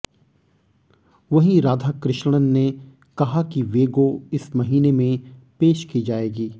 वहीं राधाकृष्णन ने कहा कि वेगो इस महीने में पेश की जाएगी